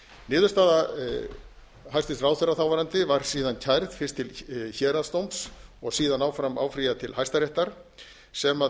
niðurstaða hæstvirtur ráðherra þáverandi var síðan kærð til héraðsdóms og síðan áfram áfrýjað til hæstaréttar sem